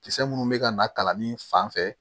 Kisɛ munnu bɛ ka na kalannin fan fɛ